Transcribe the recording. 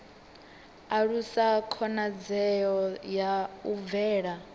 alusa khonadzeo ya u bvela